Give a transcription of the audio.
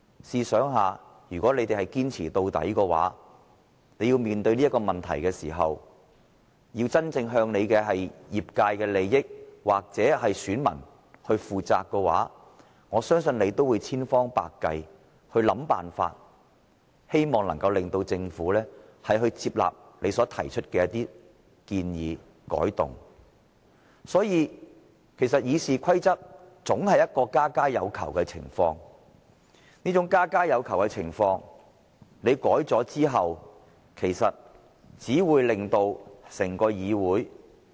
試想一下，如果他們堅持到底，要真正面對自己業界的利益或向選民負責的話，我相信他們也會千方百計地想方法，希望能夠令政府接納他們提出的建議或改動。所以，《議事規則》總是家家有求的情況，而在作出修訂後，只會令整個議會......